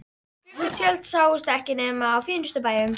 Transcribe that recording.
Gluggatjöld sáust ekki nema á fínustu bæjum.